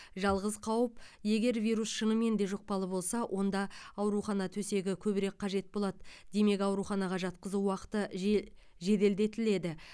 жалғыз қауіп егер вирус шынымен де жұқпалы болса онда аурухана төсегі көбірек қажет болады демек ауруханаға жатқызу уақыты же жеделдетіледі